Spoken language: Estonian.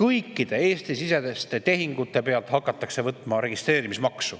kõikide Eesti-siseste tehingute pealt hakatakse võtma registreerimismaksu.